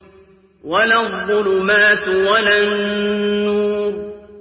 وَلَا الظُّلُمَاتُ وَلَا النُّورُ